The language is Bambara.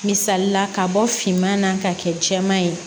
Misalila ka bɔ finman na ka kɛ jɛman ye